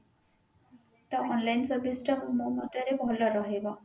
ତ online service ଟା ମୋ ମତରେ ଭଲ ରହିବ